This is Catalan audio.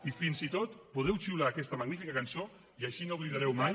i fins i tot podeu xiular aquesta magnífica cançó i així no oblidareu mai